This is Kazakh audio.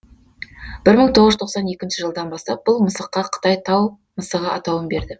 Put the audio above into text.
бір мың тоғыз жүз тоқсан екінші жылдан бастап бұл мысыққа қытай тау мысығы атауын берді